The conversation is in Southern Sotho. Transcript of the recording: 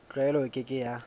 tlwaelo e ke ke ya